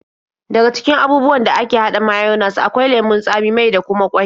Daga cikin abubuwan da ake haɗa mayones akwai lemon tsami, mai da kuma ƙwai.